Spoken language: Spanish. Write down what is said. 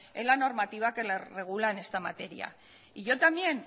en la normativa que la regula en esta materia y yo también